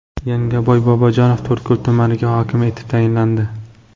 Yangaboy Bobojanov To‘rtko‘l tumaniga hokim etib tayinlandi.